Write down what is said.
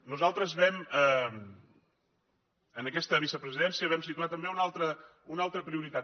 nosaltres en aquesta vicepresidència vam situar també una altra prioritat